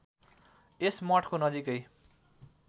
यस मठको नजिकै